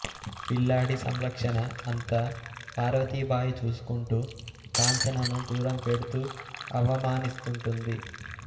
పిల్లాడి సంరక్షణ అంతా పార్వతీభాయి చూసుకుంటూ కాంచనను దూరం పెడుతూ అవమానిస్తుంటుంది